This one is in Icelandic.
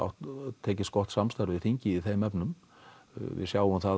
tekið gott samstarf við þingið í þeim efnum við sjáum það